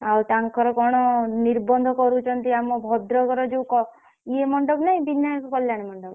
ଆଉ ତାଙ୍କର କଣ ନିର୍ବନ୍ଧ କରୁଛନ୍ତି ଆମ ଭଦ୍ରକର ଯୋଉ କ ଇଏ ମଣ୍ଡପ ନାହିଁ ବିନାୟକ କଲ୍ୟାଣ ମଣ୍ଡପ?